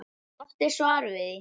Hún átti svar við því.